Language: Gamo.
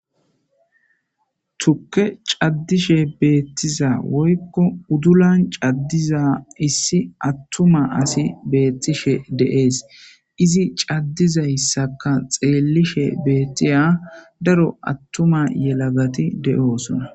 tukke caddishe beettiza woykko uddulan caddiza issi attuma asi beettishe de7ees izi caddizayssaka xeellishe beettiya daro attuma yelagati de7oosona